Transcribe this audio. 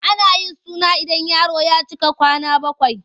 Ana yin suna ida yaro ya cika kwana bakwai.